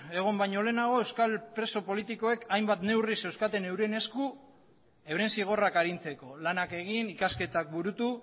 egon baino lehenago euskal preso politikoek hainbat neurri zeuzkaten euren esku euren zigorrak arintzeko lanak egin ikasketak burutu